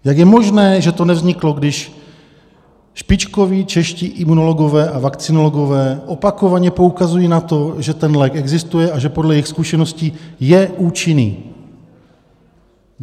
Jak je možné, že to nevzniklo, když špičkoví čeští imunologové a vakcinologové opakovaně poukazují na to, že ten lék existuje a že podle jejich zkušeností je účinný?